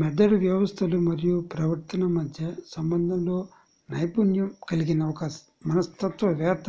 మెదడు వ్యవస్థలు మరియు ప్రవర్తన మధ్య సంబంధంలో నైపుణ్యం కలిగిన ఒక మనస్తత్వవేత్త